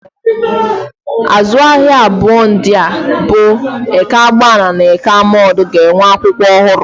Azụ ahịa abụọ ndị a bụ Eke agbani na Eke Amodu ga-enwe akwụkwọ ọhụrụ.